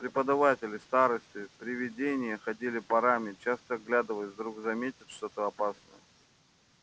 преподаватели старосты привидения ходили парами часто оглядываясь вдруг заметят что-то опасное